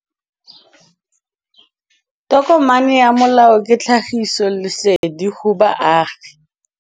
Tokomane ya molao ke tlhagisi lesedi go baagi.